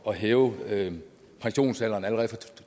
og hæve pensionsalderen allerede fra to